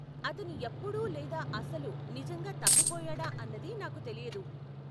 అతను ఎప్పుడు లేదా అసలు నిజంగా తప్పిపోయాడా అన్నది నాకు తెలీదు.